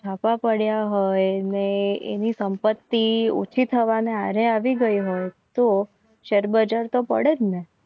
ધાબા પડ્યા હોય ને એની સંપત્તિ ઓછી થવાને હારે આવી ગઈ. હોય તો શેર બજાર તો પડે જ ને